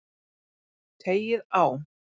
Teygið á.